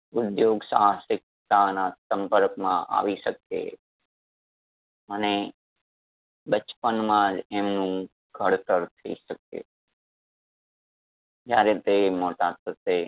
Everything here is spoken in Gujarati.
ઉધ્યોગ સાહસિકતાના સંપર્ક માં આવી શકે અને બચપનમાં જ એમનું ઘડતર થઈ શકે જ્યારે તે મોટા થશે